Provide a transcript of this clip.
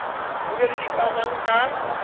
o be le dikamang ka